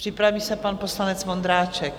Připraví se pan poslanec Vondráček.